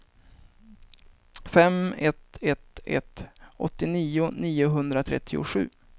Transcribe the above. fem ett ett ett åttionio niohundratrettiosju